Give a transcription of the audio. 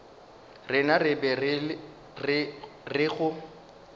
rena re be re go